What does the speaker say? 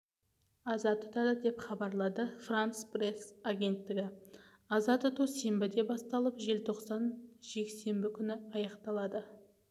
аза тұтады деп хабарлады франс пресс агенттігі аза тұту сенбіде басталып желтоқсан жексенбі күні аяқталады